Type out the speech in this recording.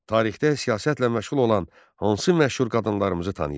Tarixdə siyasətlə məşğul olan hansı məşhur qadınlarımızı tanıyırsan?